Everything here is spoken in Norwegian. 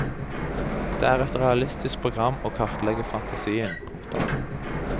Det er et realistisk program å kartlegge fantasien. punktum